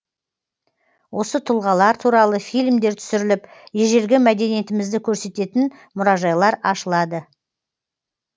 осы тұлғалар туралы фильмдер түсіріліп ежелгі мәдениетімізді көрсететін мұражайлар ашылады